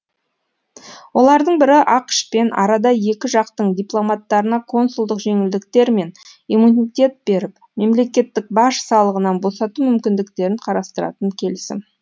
олардың бірі ақш пен арада екі жақтың дипломаттарына консулдық жеңілдіктер мен иммунитет беріп мемлекеттік баж салығынан босату мүмкіндіктерін қарастыратын келісім